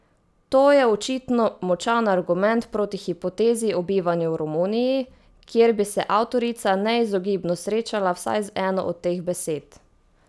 To je očitno močan argument proti hipotezi o bivanju v Romuniji, kjer bi se avtorica neizogibno srečala vsaj z eno od teh besed.